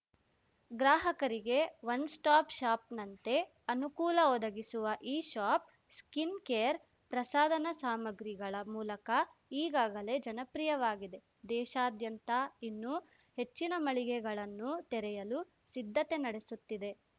ಗ್ರಾಹಕರಿಗೆ one stop ಶಾಪ್‌ನಂತೆ ಅನುಕೂಲ ಒದಗಿಸುವ ಈ ಶಾಪ್‌ ಸ್ಕಿನ್‌ ಕೇರ್‌ ಪ್ರಸಾದನ ಸಾಮಗ್ರಿಗಳ ಮೂಲಕ ಈಗಾಗಲೇ ಜನಪ್ರಿಯವಾಗಿದೆ ದೇಶಾದ್ಯಂತ ಇನ್ನು ಹೆಚ್ಚಿನ ಮಳಿಗೆಗಳನ್ನು ತೆರೆಯಲು ಸಿದ್ಧತೆ ನಡೆಸುತ್ತಿದೆ